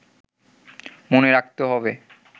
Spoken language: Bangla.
মনে রাখতে হবে